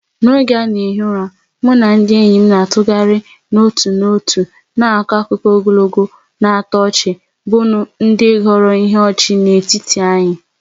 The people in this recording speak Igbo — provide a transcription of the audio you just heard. N'oge a na-ehi ụra, mụ na ndị enyi m na-atụgharị n'otu n'otu na-akọ akụkọ ogologo na-atọ ọchị bụ ndị ghọrọ ihe ọchị n'etiti anyị.